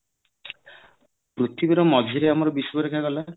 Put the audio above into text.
ପୃଥିବୀରେ ମଝିରେ ଆମର ବିଶ୍ବରେଖା ଗଲା